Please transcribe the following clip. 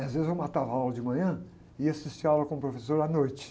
E às vezes eu matava aula de manhã e assistia aula com o professor à noite.